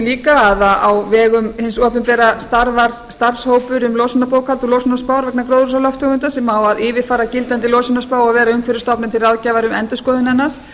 líka að á vegum hins opinbera starfar starfshópur um losunarbókhald og losunarspár vegna gróðurhúsalofttegunda sem á að yfirfara gildandi losunarspá og vera umhverfisstofnun til ráðgjafar um endurskoðun hennar